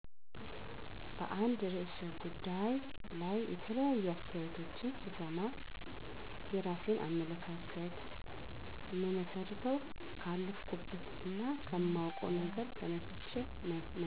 በአንድ ርዕሰ ጉዳይ ላይ የተለያዩ አስተያየቶችን ስሰማ፣ የራሴን አመለካከት እምመሰርተው ካለፈኩበት እና ከማዉቀው ነገር ተነስቸ ነዉ።